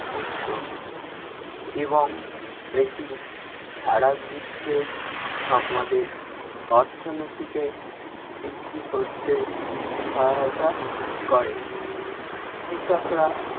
উৎস এবং এটি সারা বিশ্বে আমাদের অর্থনীতিকে বৃদ্ধি করতে সহায়তা করে। কৃষকরা